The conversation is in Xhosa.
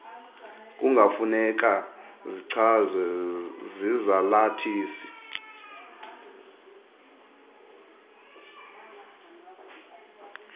kungafuneka zichazwe zizalathisi